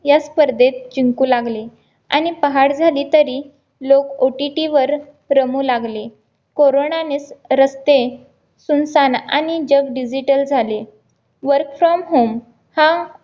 या स्पर्धेत जिंकू लागले आणि पहाट झाली तरी लोक OTT वर रमू लागले कोरोनानीच रस्ते सुनसान आणि जग digital झाले work from home हा